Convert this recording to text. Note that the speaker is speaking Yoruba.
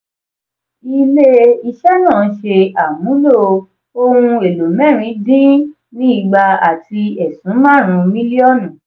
ile-iṣẹ́ náà ṣe ìmúlò ohun èlò mẹ́rin dín ni igba àti ẹ̀sún marun milionu.